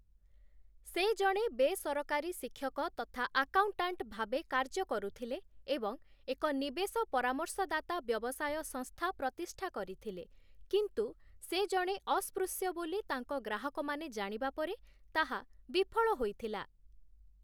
ସେ ଜଣେ ବେସରକାରୀ ଶିକ୍ଷକ ତଥା ଆକାଉଣ୍ଟାଣ୍ଟ ଭାବେ କାର୍ଯ୍ୟ କରୁଥିଲେ ଏବଂ ଏକ ନିବେଶ ପରାମର୍ଶଦାତା ବ୍ୟବସାୟ ସଂସ୍ଥା ପ୍ରତିଷ୍ଠା କରିଥିଲେ, କିନ୍ତୁ ସେ ଜଣେ ଅସ୍ପୃଶ୍ୟ ବୋଲି ତାଙ୍କ ଗ୍ରାହକମାନେ ଜାଣିବା ପରେ ତାହା ବିଫଳ ହୋଇଥିଲା ।